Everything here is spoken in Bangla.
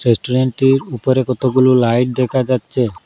রেস্টুরেন্টের উপরে কতগুলো লাইট দেখা যাচ্ছে।